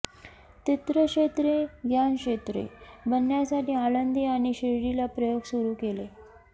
तीर्थक्षेत्रे ज्ञानक्षेत्रे बनण्यासाठी आळंदी आणि शिर्डीला प्रयोग सुरू केले